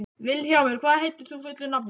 Vilhjálmur, hvað heitir þú fullu nafni?